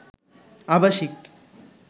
আবাসিক